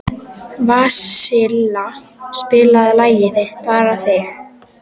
Vasilia, spilaðu lagið „Þig bara þig“.